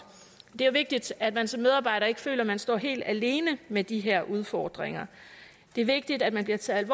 det er vigtigt at man som medarbejder ikke føler man står helt alene med de her udfordringer det er vigtigt at man bliver taget